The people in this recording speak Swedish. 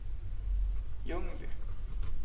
Ljungby